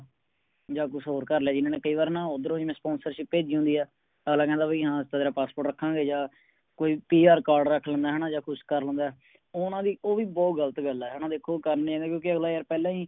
ਜਾ ਕੁਝ ਹੋਰ ਕਰ ਲਿਆ ਜਿਨ੍ਹਾਂ ਨੇ ਕਈ ਬਾਰ ਨਾ ਓਥਰੋ ਹੀ Sponsership ਭੇਜੀ ਹੁੰਦੀ ਆ ਅਗਲਾ ਕਹਿੰਦਾ ਭਾਈ ਹਾਂ ਅਸੀਂ ਤਾ ਤੇਰਾ Passport ਰੱਖਾਂਗੇ ਜਾ ਕੋਈ PR card ਰੱਖ ਲੈਂਦੇ ਹੈ ਨਾ ਜਾ ਕੁਝ ਕਰ ਲੈਂਦੇ ਓਹਨਾ ਦੀ ਉਹ ਵੀ ਬੋਹੋਤ ਗ਼ਲਤ ਗੱਲ ਏ ਹੈ ਨਾ ਦੇਖੋ ਕਰਨੇ ਆ ਕਿਉਕਿ ਅਗਲਾ ਯਾਰ ਪਹਿਲਾ ਹੀ